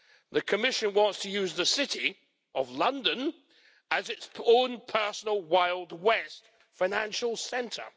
The Commission wants to use the City of London as its own personal Wild West financial centre.